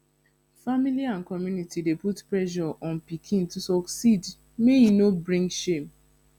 family and community dey put pressure on pikin to succeed make e no bring shame